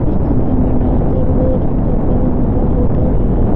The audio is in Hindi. इस तस्वीर में नास्त और भोजन का प्रबंध का होटल है।